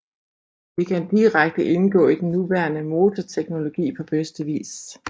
Det kan direkte indgå i den nuværende motorteknologi på bedste vis